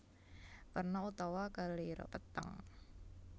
Werna utawa kelire peteng